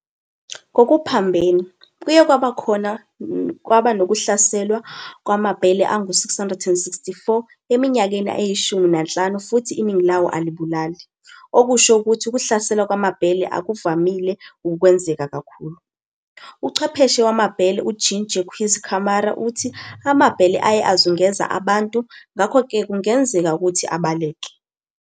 Ngokuphambene, kuye kwaba nokuhlaselwa kwamabhele angu-664 eminyakeni eyishumi nanhlanu futhi iningi lawo alibulali, okusho ukuthi ukuhlaselwa kwamabhele akuvamile ukukwenzeka kakhulu. Uchwepheshe wamabhele uJean-Jacques Camarra uthi amabhele aye azungeza abantu, ngakho-ke kungenzeka ukuthi abaleke.